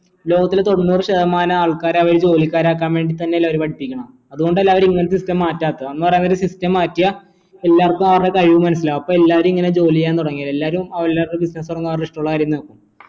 ലോകത്തില് തൊണ്ണൂറ് ശതമാനം ആൾക്കാര് അവരെ ജോലിക്കാരൻ ആക്കാൻ വേണ്ടി തന്നെ അല്ലെ അവർ പഠിപ്പിക്കുന്നേ അതുകൊണ്ടല്ലേ അവര് ഇങ്ങനത്തെ system മാറ്റാത്തെ അവര് system മാറ്റിയ എല്ലാർക്കും അവരുടെ കഴിവ് മനസ്സിലാവും അപ്പം എല്ലാരും ഇങ്ങനെ ജോലി ചെയ്യാൻ തുടങ്ങില്ല എല്ലാരും അവരുടെ business തുടങ്ങും അവരുടെ ഇഷ്ടുള്ള കാര്യങ്ങൾ